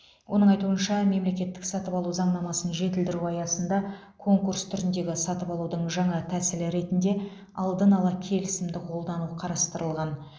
оның айтуынша мемлекеттік сатып алу заңнамасын жетілдіру аясында конкурс түріндегі сатып алудың жаңа тәсілі ретінде алдын ала келісімді қолдану қарастырылған